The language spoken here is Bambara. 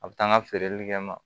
A bɛ taa n ka feereli kɛ n ma